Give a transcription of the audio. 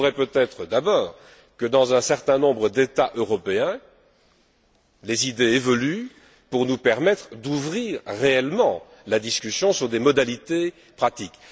Il faudrait peut être d'abord que, dans un certain nombre d'États européens, les idées évoluent pour nous permettre d'ouvrir réellement la discussion sur des modalités pratiques.